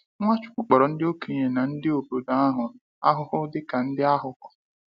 Nwachukwu kpọrọ ndị okenye na ndị obodo ahụ ahụhụ dịka ndị aghụghọ.